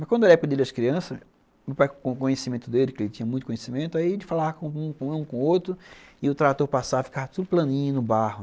Mas quando era a época das crianças, meu pai com conhecimento dele, que ele tinha muito conhecimento, ele falava com um, com outro, e o trator passava e ficava tudo planinho no barro.